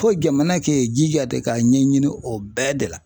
Ko jamana k'e jija de k'a ɲɛɲini o bɛɛ de la.